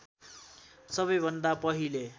सबैभन्दा पहिले